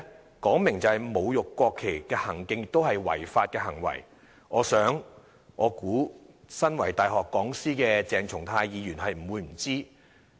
這說明了侮辱國旗的行徑是違法行為，我想身為大學講師的鄭松泰議員不會不知。